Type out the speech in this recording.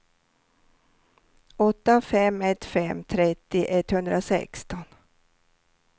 åtta fem ett fem trettio etthundrasexton